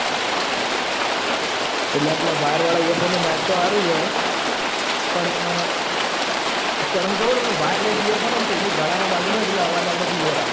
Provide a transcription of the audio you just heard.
એટલ પેલા વાયર વાળા earphone મો માયક તો હારુજ વોય હઅ પણ અ પણ હું ખબર હ wireless earphone ઈનું ગાળા મો બાજુ મો આવક એટલ આપાળો અવાજ clear આવ